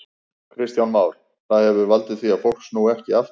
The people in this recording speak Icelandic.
Kristján Már: Það hefur valdið því að fólk snúi ekki aftur?